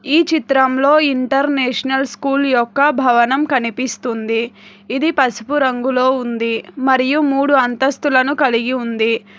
ఈ చిత్రంలో international school యొక్క భవనం కనిపిస్తుంది ఇది పసుపు రంగులో ఉంది మరియు మూడు అంతస్తులను కలిగి ఉంది.